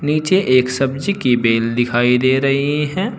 नीचे एक सब्जी की बेल दिखाई दे रही है।